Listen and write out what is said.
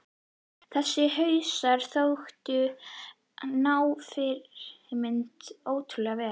Þessir hausar þóttu ná fyrirmyndunum ótrúlega vel.